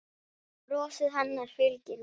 Brosið hennar fylgir mér.